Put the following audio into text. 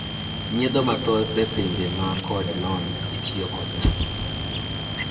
nyiedho mathoth epinje man kod lony itimo kod masin